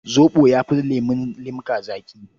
Zoɓo ya fi lemun limka zaƙi.